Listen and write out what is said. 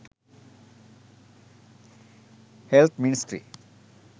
health ministry